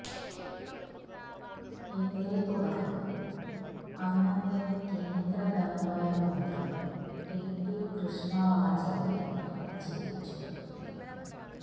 ഇതേ തുടർന്ന് അന്നത്തെ കേന്ദ്ര ധനകാര്യ മന്ത്രി ടിടി കൃഷ്ണമാചാരി രാജിവച്ചു